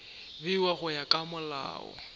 bewa go ya ka molao